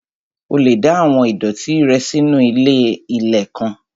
O lè da àwọn ìdọ̀ọ̀tí rẹ nù sínu ilé-ilẹ̀ kan